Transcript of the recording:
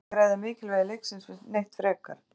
Það þarf ekkert að ræða mikilvægi leiksins neitt frekar.